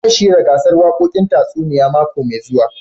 Zan shirya gasar wakokin tasunia mako mai zuwa.